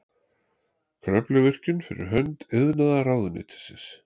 Kröfluvirkjun fyrir hönd iðnaðarráðuneytisins.